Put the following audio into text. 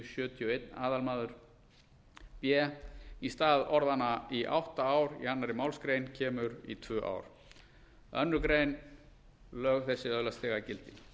og einn aðalmaður b í stað orðanna í átta ár í annarri málsgrein kemur í tvö ár annars grein lög þessi öðlast þegar gildi